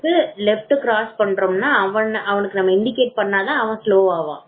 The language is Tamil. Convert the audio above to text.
left cress பண்றோம் அப்படின்னா அவனுக்கு நம்ம இன்டிகேட் பண்ணா பண்ணா தான் slow பண்ணுவான்